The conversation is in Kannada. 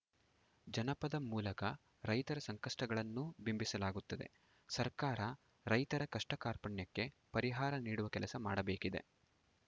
ಜನಪದ ಮೂಲಕ ರೈತರ ಸಂಕಷ್ಟಗಳನ್ನೂ ಬಿಂಬಿಸಲಾಗುತ್ತದೆ ಸರ್ಕಾರ ರೈತರ ಕಷ್ಟಕಾರ್ಪಣ್ಯಕ್ಕೆ ಪರಿಹಾರ ನೀಡುವ ಕೆಲಸ ಮಾಡಬೇಕಿದೆ